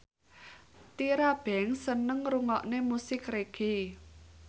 Tyra Banks seneng ngrungokne musik reggae